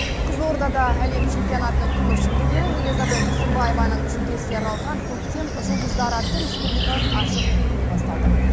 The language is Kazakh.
қызылордада әлем чемпионатының күміс жүлдегері элизобет тұрсынбаеваның жүлдесіне арналған көктем жұлдыздары атты республикалық ашық турнир басталды